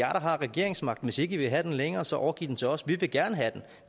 har regeringsmagten hvis ikke i vil have den længere så overgiv den til os vi vil gerne have den